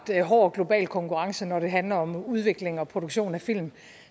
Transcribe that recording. hård global konkurrence når det handler om udvikling og produktion af film